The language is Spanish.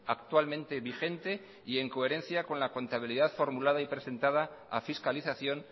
actualmente vigente y en coherencia con la contabilidad formulada y presentada a fiscalización